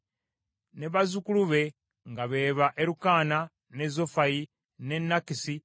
ne bazzukulu be nga be ba Erukaana, ne Zofayi, ne Nakasi,